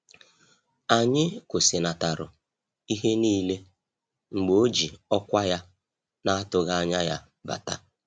Anyị kwụsịnataru ihe niile mgbe o ji ọkwa ya na-atụghị anya ya bata